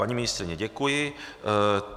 Paní ministryně, děkuji.